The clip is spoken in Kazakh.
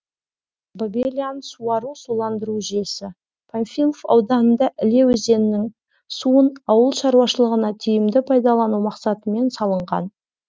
бабелян суару суландыру жүйесі панфилов ауданында іле өзенінің суын ауыл шаруашылығына тиімді пайдалану мақсатымен салынған